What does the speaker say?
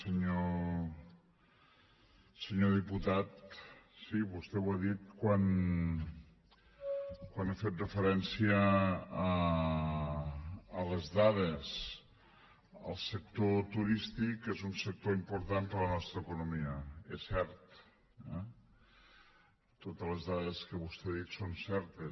senyor diputat sí vostè ho ha dit quan ha fet referència a les dades el sector turístic és un sector important per a la nostra economia és cert eh totes les dades que vostè ha dit són certes